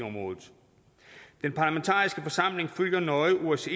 området den parlamentariske forsamling følger nøje osces